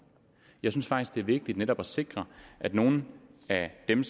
jeg synes faktisk det er vigtigt netop at sikre at nogle af dem